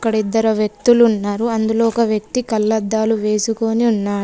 ఇక్కడ ఇద్దరు వ్యక్తులు ఉన్నారు. అందులో ఒక వ్యక్తి కళ్ళద్దాలు వేసుకొని ఉన్నారు.